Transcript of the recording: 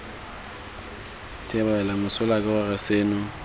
thebolelo mesola ke gore seno